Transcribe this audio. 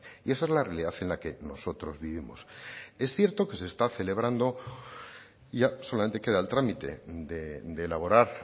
y esa es la realidad en la que nosotros vivimos es cierto que se está celebrando y ya solamente queda el trámite de elaborar